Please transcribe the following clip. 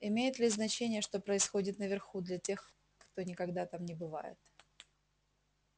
имеет ли значение что происходит наверху для тех кто никогда там не бывает